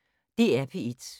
DR P1